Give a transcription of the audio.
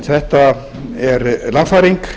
þetta er lagfæring